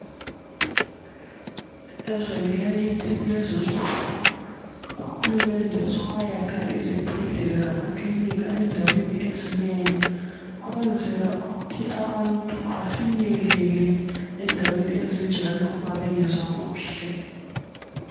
Ezweni lakithi kulezinsuku uHulumende sowayakha izibhedlela lama kilinika endaweni ezinengi ukwenzela ukuthi abantu bafinyelele endaweni ezinjalo ma bengezwa kuhle.